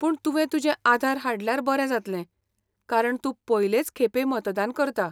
पूण तुवें तुजें आधार हाडल्यार बरें जातलें कारण तूं पयलेंच खेपें मतदान करता.